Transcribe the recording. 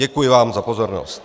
Děkuji vám za pozornost.